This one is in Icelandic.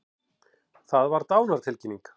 Það var dánartilkynning.